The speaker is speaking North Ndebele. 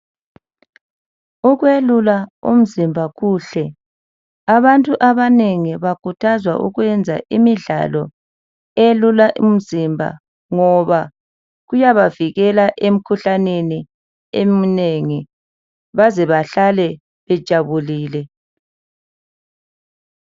Ukwelula umzimba kuhle. Abantu abanengi bakhuthazwa ukwenza imidlalo eyelula imzimba ngoba kuyabavikela emkhuhlaneni eminengi baze bahlale bajabulile.